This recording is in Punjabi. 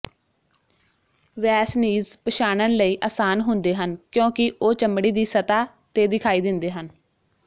ਵੈਸਨੀਜ਼ ਪਛਾਣਨ ਲਈ ਆਸਾਨ ਹੁੰਦੇ ਹਨ ਕਿਉਂਕਿ ਉਹ ਚਮੜੀ ਦੀ ਸਤਹ ਤੇ ਦਿਖਾਈ ਦਿੰਦੇ ਹਨ